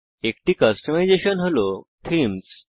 একটি কাস্টমাইজেসন হল থীমস